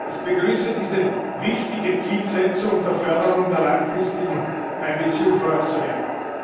Ich begrüße diese wichtige Zielsetzung der Förderung der langfristigen Einbeziehung von Aktionären.